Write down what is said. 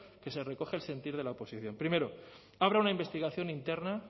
que se recoge el sentir de la oposición primero abra una investigación interna